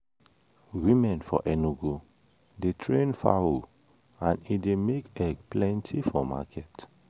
women for enugu dey train fowl and e dey make egg plenty for market.